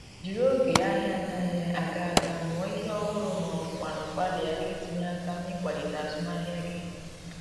Jiri oge ahia anaghi aga aga mụọ ihe ọhụrụ ma ọ bụkwanụ gbalịa itinye aka n’ịkwalite azụmahịa gị